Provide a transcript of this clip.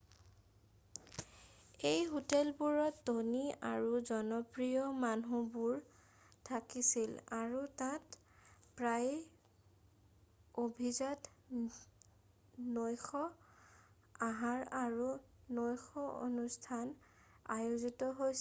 এই হোটেলবোৰত ধনী আৰু জনপ্ৰিয় মানুহবোৰ থাকিছিল আৰু তাত প্ৰায়েই অভিজাত নৈশ আহাৰ আৰু নৈশ অনুষ্ঠান আয়োজিত হৈছিল